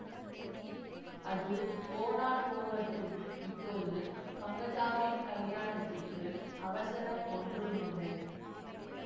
அது போனால் போகட்டும் இப்போது பங்கஜாவின் கலியாணத்துக்கு அவசரம் ஒன்றுமில்லை